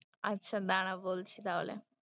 আচ্ছা দাঁড়া বলছি তাহলে।